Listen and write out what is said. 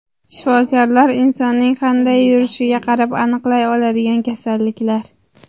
Shifokorlar insonning qanday yurishiga qarab aniqlay oladigan kasalliklar.